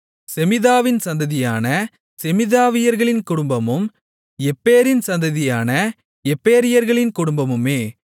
செமீதாவின் சந்ததியான செமீதாவியர்களின் குடும்பமும் எப்பேரின் சந்ததியான எப்பேரியர்களின் குடும்பமுமே